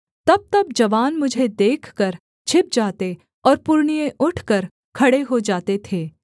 तबतब जवान मुझे देखकर छिप जाते और पुरनिये उठकर खड़े हो जाते थे